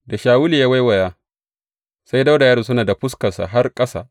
Da Shawulu ya waiwaya, sai Dawuda ya rusuna da fuskarsa har ƙasa.